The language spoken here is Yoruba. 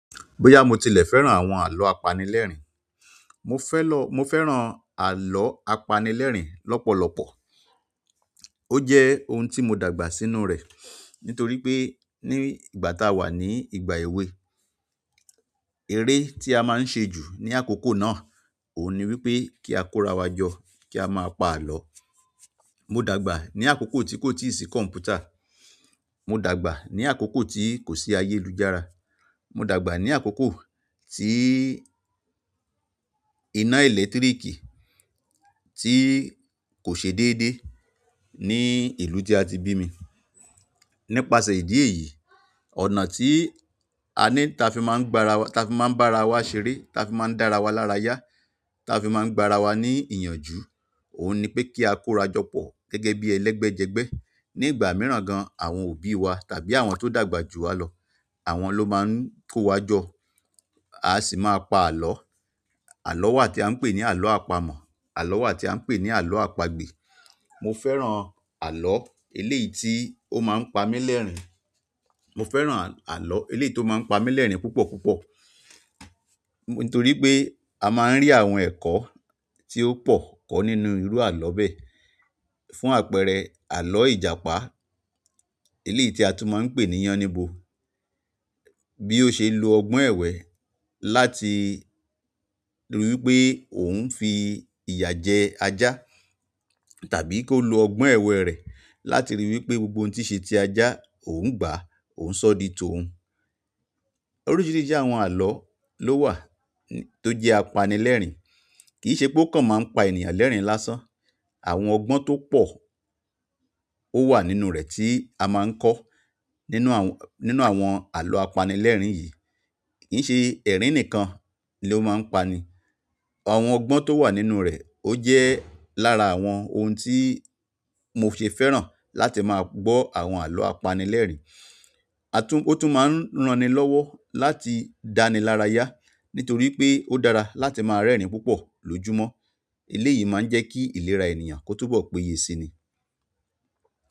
Bóyá mo tilẹ̀ fẹ́ràn àwọn àlọ́ apanilẹ́rìn-ín, mo fẹ́ lọ, mo fẹ́ràn àlọ́ apanilẹ́rìn-ín lọ́pọ̀lọpọ̀. Ó jẹ́ oun tí mo dàgbà sínú rẹ̀ nítorí pé ní ìgbà táa wà ní ìgbà èwe, eré tí a máa ń ṣe jù ní àkókò náà òun ni wípé kí á kórawa jọ, kí a máa pa àlọ́. Mo dàgbà ní àkókò tí kò tíì sí kọ̀m̀pútà, mo dàgbà ní àkókò tí kò sí ayélujára, mo dàgbà ní àkókò tí iná ẹ̀lẹ́tíríkì tí kò ṣe déédéé ní ìlú tí a ti bí mi. Nípasẹ̀ ìdí èyí, ọ̀nà tí a ní, ta fi máa ń gbárawa, ta fi máa ń bá ara wa ṣeré, ta fi máa ń dá ara wa lára yá, ta fi máa ń gbá ara wa ní ìyànjú, òun ni pé kí á kóra jọ pọ̀ gẹ́gẹ́ bí ẹlẹ́gbẹ́jẹgbẹ́. Ní ìgbà mìíràn gan, àwọn òbí wa tàbí àwọn tó dàgbà jù wa lọ, àwọn ló máa ń kó wa jọ, a sì máa pa àlọ́. Àlọ́ wà tí a ń pè ní àlọ́ àpamọ̀, àlọ́ wà tí a ń pè ní àlọ́ àpagbè. Mo fẹ́ràn àlọ́ eléyìí tí ó máa ń pa mí lẹ́rìn-ín, mo fẹ́ràn àlọ́ eléyìí tó máa ń pa mí lẹ́rìn-ín púpọ̀púpọ̀. Nítorí pé a máa ń rí àwọn ẹ̀kọ́ tí ó pọ̀ kọ́ nínú irú àlọ́ bẹ́ẹ̀. Fún àpẹẹrẹ àlọ́ Ìjàpá, eléyìí tí a tún máa ń pè ní Yáníbo bí ó ṣe lo ọgbọ́n èwẹ́ láti ríi wípé òun ń fi ìyà jẹ ajá tàbí kó lo ọgbọ́n èwẹ́ rẹ̀ láti ríi wípé gbogbo ohun tí ṣe ti ajá òun gbà á, òun ṣọ́ di tó un. Oríṣìíríṣìí àwọn àlọ́ ló wà tó jẹ́ apanilẹ́rìn-ín. Kì í ṣe pó kàn máa ń pa ènìyàn lẹ́rìn-ín lásán. Àwọn ọgbọ́n tó pọ̀ ó wà nínú rẹ̀ tí a máa ń kọ́ nínú àwọn, nínú àwọn àlọ́ apanilẹ́rìn-ín yìí. Kìí ṣe ẹrin nìkan lo ma n pa ni àwọn ọgbọn to wa nínú rẹ o jẹ lára àwọn oun ti mo ṣe fẹ́ràn láti má gbọ́ àwọn alọ apanilẹrin. A tún, ó tún máa ń ran ni lọ́wọ́ láti dáni lára yá nítorí pé ó dára láti máa rẹ́rìn-ín púpọ̀ lójúmọ́. Eléyìí máa ń jẹ́ kí ìlera ènìyàn kó túbọ̀ péye síni.